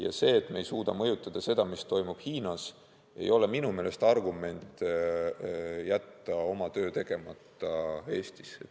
Ja see, et me ei suuda mõjutada seda, mis toimub Hiinas, ei ole minu meelest argument jätta oma töö tegemata Eestis.